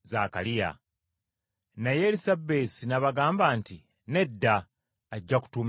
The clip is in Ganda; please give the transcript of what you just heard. Naye Erisabesi n’abagamba nti, “Nedda, ajja kutuumibwa Yokaana.”